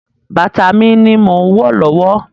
Bàtà mi ni mò ń wọ̀ lọ́wọ́.